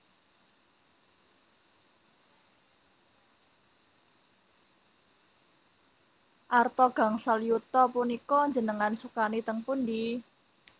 Arta gangsal yuta punika njenengan sukani teng pundi?